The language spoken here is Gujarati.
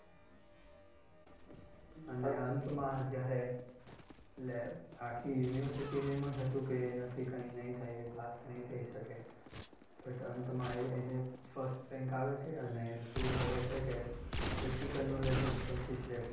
અને અંતમાં જ્યારે, એટલે આખી university ને એમ જ હતું કે એનાથી કાય નહીં થાય એ પાસ નહીં થઈ શકે but અંતમાં એ એને first rank આવે છે અને prove કરે છે કે practical knowledge જ સૌથી શ્રેષ્ઠ છે.